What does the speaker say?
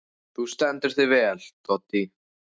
Þú stendur þig vel, Doddý!